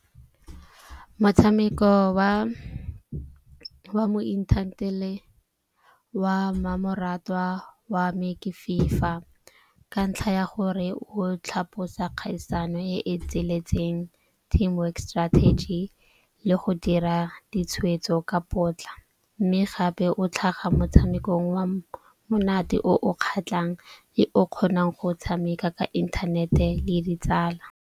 Motshameko wa mo wa mmamoratwa wa me ke FIFA. Ka ntlha ya gore o tlhaposa kgaisano e e tsweletseng, team work strategy le go dira ditshwetso ka potla. Mme gape o tlhaga motshamekong wa monate o o kgatlhang le o kgonang go tshameka ka inthanete le ditsala.